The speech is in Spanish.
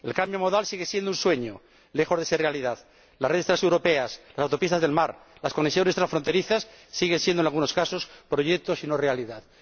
El cambio modal sigue siendo un sueño, lejos de ser realidad. Las redes transeuropeas, las autopistas del mar, las conexiones transfronterizas siguen siendo, en algunos casos, proyectos y no realidades.